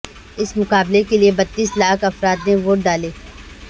اس مقابلے کے لیے بتیس لاکھ افراد نے ووٹ ڈالے